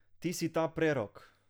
Ti si ta prerok!